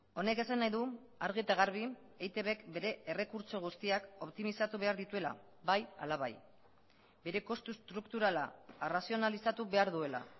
honek esan nahi du argi eta garbi eitbk bere errekurtso guztiak optimizatu behar dituela bai hala bai bere kostu estrukturala arrazionalizatu behar duela